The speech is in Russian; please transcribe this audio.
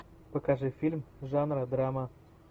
покажи фильм жанра драма